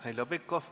Heljo Pikhof, palun!